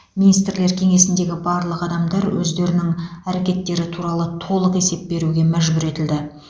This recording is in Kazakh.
министрлер кеңесіндегі барлық адамдар өздерінің әрекеттері туралы толық есеп беруге мәжбүр етілді